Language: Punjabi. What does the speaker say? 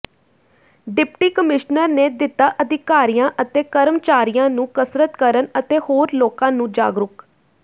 ਡਿਪਟੀ ਕਮਿਸ਼ਨਰ ਨੇ ਦਿੱਤਾ ਅਧਿਕਾਰੀਆਂ ਤੇ ਕਰਮਚਾਰੀਆਂ ਨੂੰ ਕਸਰਤ ਕਰਨ ਅਤੇ ਹੋਰ ਲੋਕਾਂ ਨੂੰ ਜਾਗੂਰਕ